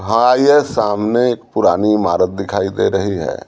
हा ये सामने एक पुरानी इमारत दिखाई दे रही है।